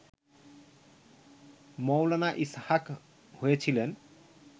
মৌলানা ইসহাক হয়েছিলেন